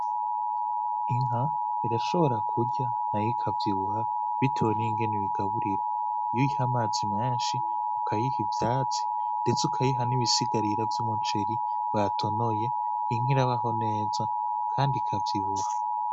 Inka irashobora kurya nayo ikavyibuha bitewe n'ingene uyigaburira. Iyo uyiha amazi menshi, ukayiha ivyatsi n'ibisigarira vy'umuceri batonoye, inka irabaho neza kandi ikavyibuha.